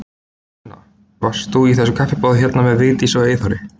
Sunna: Varst þú í þessu kaffiboði hérna með Vigdísi og Eyþóri?